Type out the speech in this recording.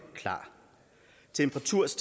var trods